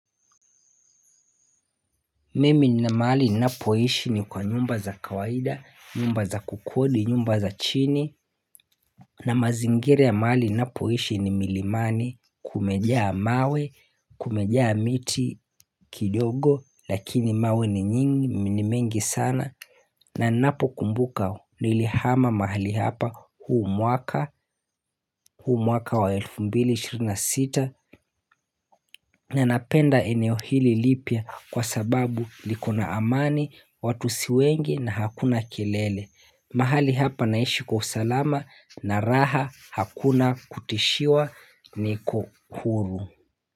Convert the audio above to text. Mimi nina mahali ninapoishi ni kwa nyumba za kawaida, nyumba za kukodi, nyumba za chini na mazingira ya mahali ninapoishi ni milimani kumejaa mawe, kumejaa miti kidogo lakini mawe ni nyingi, ni mengi sana na ninapo kumbuka nilihama mahali hapa huu mwaka huu mwaka wa elfu mbili ishirini na sita. Na napenda eneo hili lipya kwa sababu likona amani, watu si wengi na hakuna kelele. Mahali hapa naishi kwa usalama na raha hakuna kutishiwa ni kuhuru.